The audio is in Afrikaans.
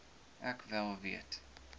ek wel weet